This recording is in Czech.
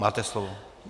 Máte slovo.